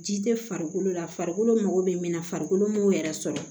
Ji tɛ farikolo la farikolo mago be min na farikolo ma yɛrɛ sɔrɔ